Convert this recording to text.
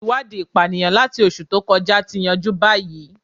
Iwadii ipaniyan lati oṣu to kọja ti yanju bayi